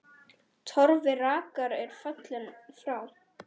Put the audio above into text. Torfi rakari er fallinn frá.